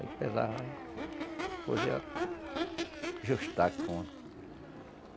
Aí pesava, aí... Depois ia ajustar a conta.